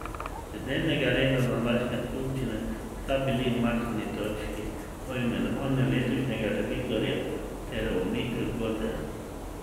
Z dnevnega reda današnje skupščine sta bili umaknjeni točki o imenovanju letošnjega revizorja ter o umiku z borze.